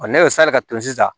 ne ye sali ka turu sisan